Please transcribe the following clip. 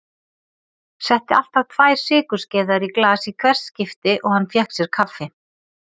Setti alltaf tvær sykurskeiðar í glas í hvert skipti og hann fékk sér kaffi.